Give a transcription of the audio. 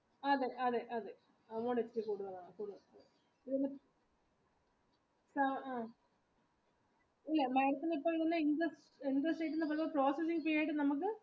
അതെ അതെ amount കൂടുതലാകും അല്ല